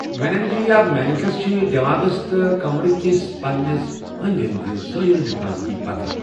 Meninges یا مینَکٕس چھِ دؠماغَس تہٕ کَمرٕکِس پَنَس أندؠ أندؠ زٲیِل حِفاطتی پَتہٕ.